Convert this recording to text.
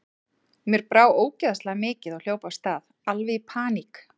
Mér brá ógeðslega mikið og hljóp af stað, alveg í paník.